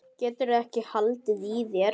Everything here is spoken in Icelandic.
Geturðu ekki haldið í þér?